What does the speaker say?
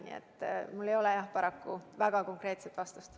Nii et mul ei ole, jah, paraku väga konkreetset vastust.